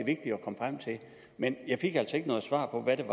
men jeg fik altså ikke noget svar på hvad